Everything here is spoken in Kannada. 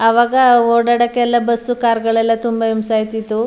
ಅವಾಗ ಓಡಾಡೋಕೆ ಎಲ್ಲ ಬಸ್ಸು ಕಾರ್ ಗಳಿಲ್ಲ ತುಂಬಾ ಹಿಂಸೆ ಅಯ್ತಿತ್ತು.